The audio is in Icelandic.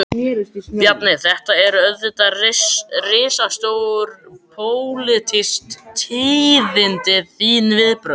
Bjarni, þetta eru auðvitað risastór, pólitísk tíðindi, þín viðbrögð?